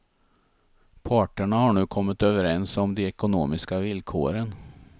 Parterna har nu kommit överens om de ekonomiska villkoren.